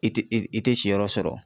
I te, i te si yɔrɔ sɔrɔ.